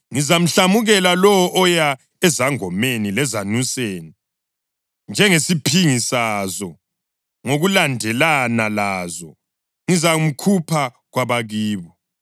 Ngizamhlamukela lowo oya ezangomeni lezanuseni njengesiphingi sazo, ngokulandelana lazo. Ngizamkhupha kwabakibo.